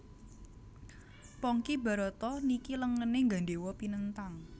Pongki Barata niki lengene nggandhewa pinenthang